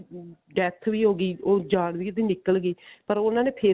death ਵੀ ਹੋਗੀ ਉਹ ਜਾਨ ਵੀ ਉਹਦੀ ਨਿਕਲ ਗਈ ਪਰ ਉਹਨਾ ਨੇ ਫ਼ੇਰ